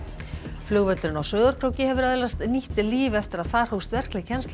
flugvöllurinn á Sauðárkróki hefur öðlast nýtt líf eftir að þar hófst verkleg kennsla í